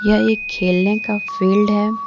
यह एक खेलने का फील्ड है।